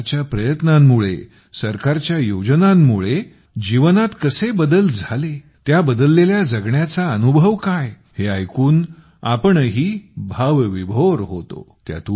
सरकारच्या प्रयत्नांमुळे सरकारच्या योजनांमुळे जीवनात कसे बदल झाले त्या बदललेल्या जगण्याचा अनुभव काय हे ऐकून आपणही भावविभोर होतो